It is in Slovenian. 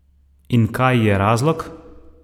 In kaj je razlog?